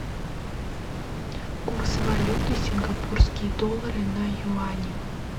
курс валюты сингапурские доллары на юани